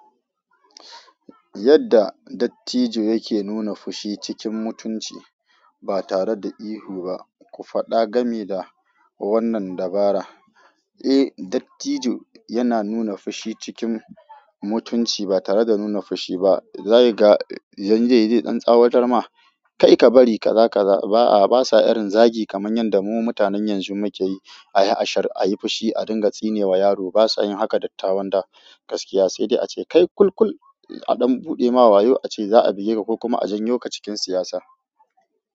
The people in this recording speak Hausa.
Yadda dattijo yake nuna fushi cikin mutunci ba tare da ihu ba. Ku faɗa game da wannan dabara. Eh, dattijo yana nuna fushi cikin mutunci ba tare da nuna fushi ba. Zai ga, zan je yi ɗan tsawatar ma. Kai ka bari ka za ka ba a, basa irin zagi kamar yanda mu mutanen yanzu muke yi. A yi ashar, a yi fushi, a dinga tsine wa yaro. Ba sa yin haka dattawan da gaskiya. Sai dai a ce kai kul kul a ɗan buɗe ma wayo a ce za a buge ka ko kuma a janyo ka cikin siyasa.